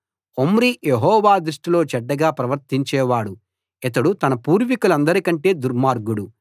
Omri Jehovah దృష్టిలో చెడ్డగా ప్రవర్తించేవాడు ఇతడు తన పూర్వికులందరికంటే దుర్మార్గుడు